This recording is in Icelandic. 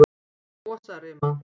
Mosarima